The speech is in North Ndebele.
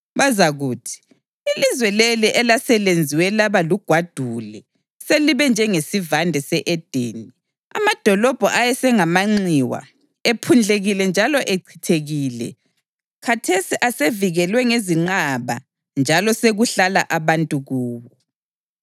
Bazakuthi, “Ilizwe leli elaselenziwe laba lugwadule selibe njengesivande se-Edeni; amadolobho ayesengamanxiwa, ephundlekile njalo echithekile, khathesi asevikelwe ngezinqaba njalo sekuhlala abantu kuwo.”